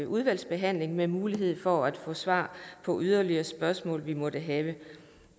udvalgsbehandling med mulighed for at få svar på yderligere spørgsmål vi måtte have